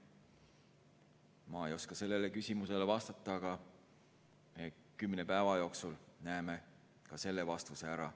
Ma ei oska sellele küsimusele vastata, aga kümne päeva jooksul näeme ka selle vastuse ära.